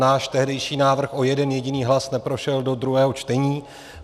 Náš tehdejší návrh o jeden jediný hlas neprošel do druhého čtení.